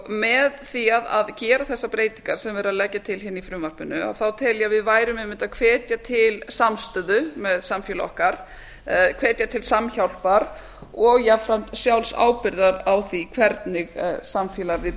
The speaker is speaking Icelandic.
með því að gera þessar breytingar sem verið er að leggja til í frumvarpinu þá tel ég að við værum einmitt að hvetja til samstöðu með samfélagi okkar hvetja til samhjálpar og jafnframt sjálfsábyrgðar á því í hvernig samfélagi við